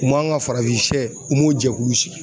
U man ga farafinsɛ u m'o jɛkulu sigi